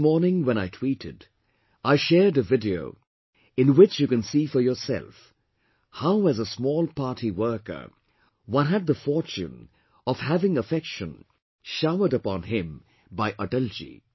This morning when I tweeted, I shared a video, in which you can see for yourself how as a small party worker one had the fortune of having affection showered upon him by Atalji